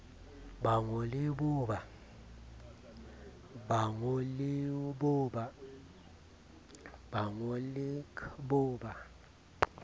ba ngo le cbo ba